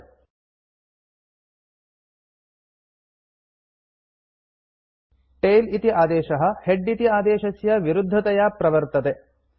फ्5 tail इति आदेशः head इति आदेशस्य विरुद्धतया प्रवर्तते